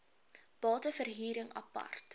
bate verhuring apart